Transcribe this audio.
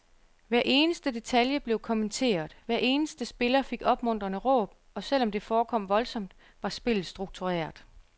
Hver eneste detalje blev kommenteret, hver eneste spiller fik opmuntrende råb, og selv om det forekom voldsomt, var spillet struktureret.